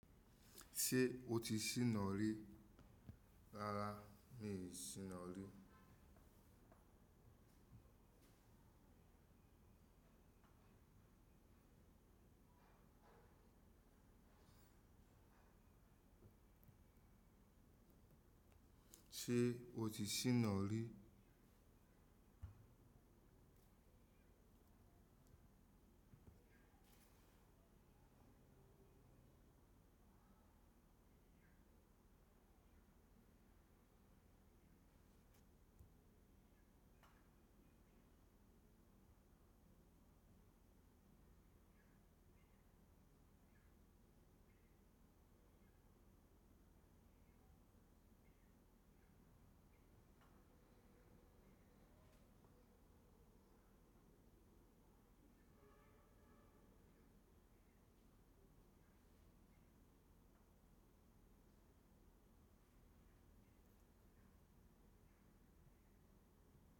Ṣé o ti ṣí nọ́rí rárá mi ò ti ṣí nọ́rí. Ṣé o ti ṣí nọ́rí?